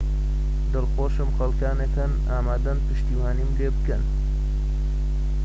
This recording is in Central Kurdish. دڵخۆشم خەلکانك هەن ئامادەن پشتیوانیم لێبکەن